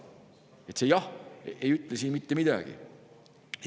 Nii et see "jah" ei ütle siin mitte midagi.